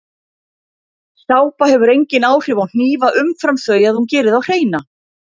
Sápa hefur engin áhrif á hnífa umfram þau að hún gerir þá hreina.